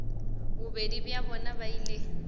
bobedi bja bona ba ile